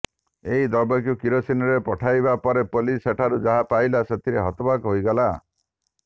ଏହି ଦ୍ରବ୍ୟକୁ କିରୋସିନିରେ ପକାଇବା ପରେ ପୋଲିସ୍ ସେଥିରୁ ଯାହା ପାଇଲା ସେଥିରେ ହତବାକ୍ ହୋଇଗଲା